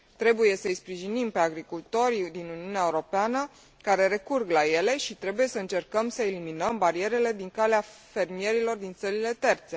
Trebuie să îi sprijinim pe agricultorii din Uniunea Europeană care recurg la ele și trebuie să încercăm să eliminăm barierele din calea fermierilor din țările terțe.